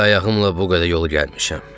Əli ayağımla bu qədər yolu gəlmişəm.